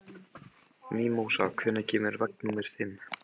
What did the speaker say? Mímósa, hvenær kemur vagn númer fimm?